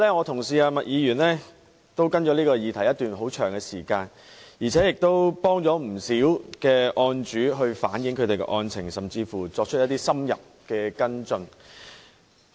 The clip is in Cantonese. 她跟進此議題已有一段很長的時間，亦幫助了不少案主反映案情，甚至作出深入的跟進。